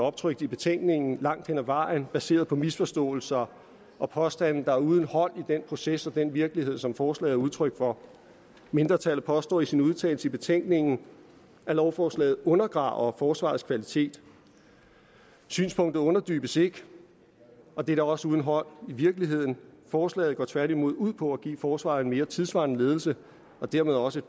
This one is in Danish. optrykt i betænkningen langt hen ad vejen baseret på misforståelser og påstande der er uden hold i den proces og den virkelighed som forslaget er udtryk for mindretallet påstår i sin udtalelse i betænkningen at lovforslaget undergraver forsvarets kvalitet synspunktet underbygges ikke og det er da også uden hold i virkeligheden forslaget går tværtimod ud på at give forsvaret en mere tidssvarende ledelse og dermed også